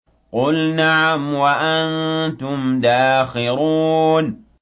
قُلْ نَعَمْ وَأَنتُمْ دَاخِرُونَ